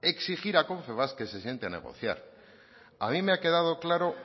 exigir a confebask que se siente a negociar a mí me ha quedado claro